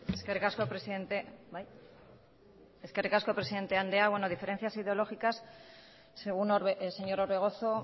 eskerrik asko presidente andrea bueno diferencias ideológicas según el señor orbegozo